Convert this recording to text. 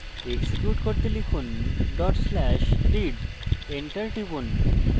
execute করতে লিখুন/read dot slash read enter টিপুন